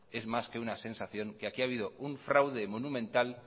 es más que una sensación que aquí ha habido un fraude monumental